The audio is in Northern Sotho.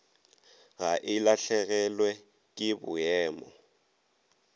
ga e lahlegelwe ke boemo